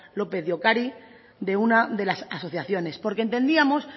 lópez de ocariz de una de las asociaciones porque entendíamos